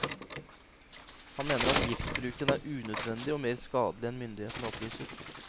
Han mener at giftbruken er unødvendig og mer skadelig enn myndighetene opplyser.